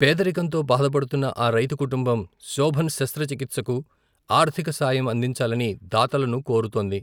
పేదరికంతో బాధపడుతున్న ఆ రైతు కుటుంబం, శొభన్ శస్త్ర చికిత్సకు, ఆర్థిక సాయం అందించాలని, దాతలను కోరుతోంది.